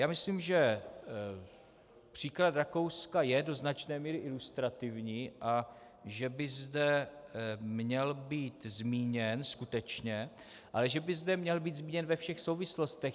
Já myslím, že případ Rakouska je do značné míry ilustrativní a že by zde měl být zmíněn skutečně, ale že by zde měl být zmíněn ve všech souvislostech.